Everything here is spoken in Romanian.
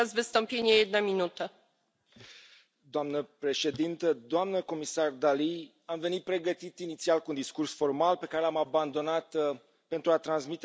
Doamna președintă, doamna comisar Dalli, am venit pregătit inițial cu un discurs formal, pe care l am abandonat pentru a transmite mai degrabă un mesaj emoțional mai direct.